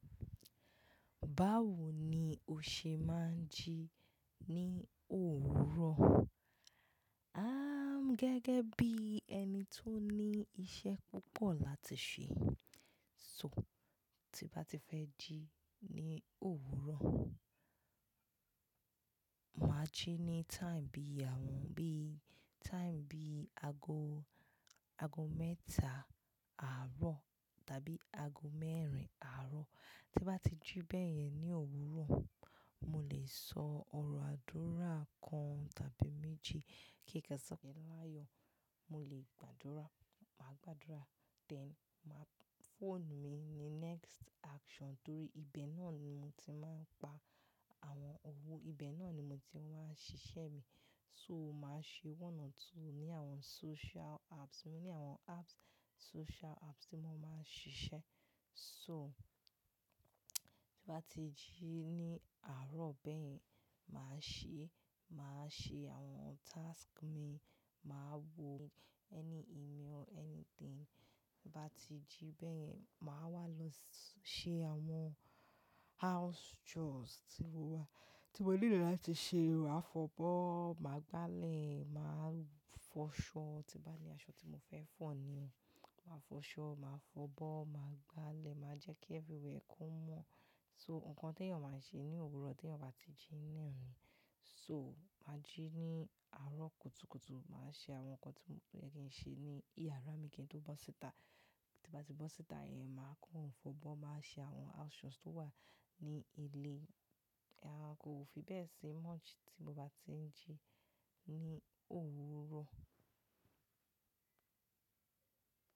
Báwo ni o ṣe máa ń jí ní òwúrọ̀? Am gẹ́gẹ́ bí ẹni tó ní iṣẹ́ púpọ̀ láti ṣe. So, tí bá ti fẹ́ jí ní òwúrọ̀, màá jí ní time bí àwọn bí time bí ago, ago mẹ́ta àárọ̀ tàbí ago mẹ́rin àárọ̀. Tí bá ti jí bẹ́ẹ̀ yẹn ní òwúrọ̀, mo lè sọ ọ̀rọ̀ àdúrà kan tàbí méjì kí kikan sọ̀kẹ̀ láyọ̀. Mo lè gbàdúrà, màá gbàdúrà, then máa mu phone mi ni next action torí ibẹ̀ náà ni mo ti máa ń pa àwọn owó, ibẹ̀ náà ni mo ti máa ń ṣiṣẹ́ mi. So, màá ṣe one or two ní àwọn social apps. Mo ní àwọn apps, social apps tí mo máa ń ṣiṣẹ́. So, tí bá ti jí ní àárọ̀ bẹ́ẹ̀ yẹn, màá ṣe, màá ṣe àwọn task mi, màá wo any email, anything. Ti Bá ti jí bẹ́ẹ̀ yẹn, màá wá lọ ṣe àwọn house chores tí mo wà, tí mo nílò láti ṣe, mo á fọbọ́, màá gbálẹ̀, màá fọṣọ. Tí bá ní aṣọ tí mo fẹ́ fọ̀ ni, màá fọṣọ, màá fọbọ́, màá gbálẹ̀, màá jẹ́ kí everywhere kó mọ́. So, nǹkan tẹ́yàn máa ń ṣe ní òwúrọ̀ tẹ́yàn bá ti jí ní ìrọ̀lẹ́. So, màá jí ní àárọ̀ kùtùkùtù, màá ṣe àwọn nǹkan tí mo fẹ́ kí n ṣe ní ìyàrá mi kí n tó bọ́ síta. Tí bá ti bọ́ síta yẹn, màá kó òǹfọ̀bọ́n, màá ṣe àwọn house chores tó wà ní ilé. Rárá, kò fi bẹ́ẹ̀ ṣe much tí mo bá ti ń jí ní òwúrọ̀.